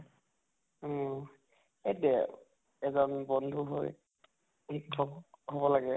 অহ সেইটোয়ে এজন বন্ধু হৈ শিক্ষক হʼব লাগে